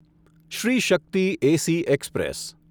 Shri Shakti AC express